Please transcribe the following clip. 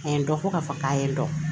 A ye dɔ fɔ k'a fɔ k'a ye dɔn